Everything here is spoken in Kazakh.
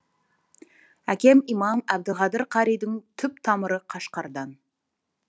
әкем имам әбдіқадыр қаридың түп тамыры қашқардан